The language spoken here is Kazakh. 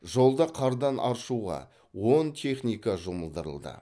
жолды қардан аршуға он техника жұмылдырылды